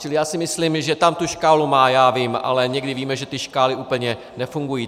Čili já si myslím, že tam tu škálu má, já vím, ale někdy víme, že ty škály úplně nefungují.